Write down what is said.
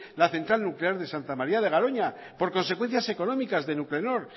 la central nuclear de santa maría de garoña por consecuencias económicas de nuclenor